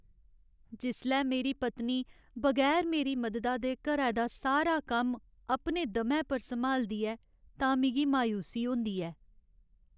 जिसलै मेरी पत्नी बगैर मेरी मददा दे घरै दा सारा कम्म अपने दमै पर सम्हालदी ऐ तां मिगी मायूसी होंदी ऐ।